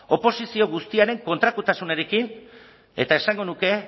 oposizio guztiaren kontrakotasunarekin eta esango nuke